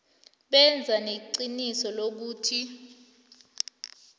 benze neqiniso lokuthi